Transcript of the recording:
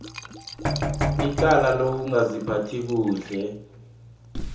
icala lokungaziphathi kuhle